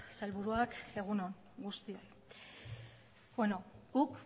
sailburuak egun on guztioi guk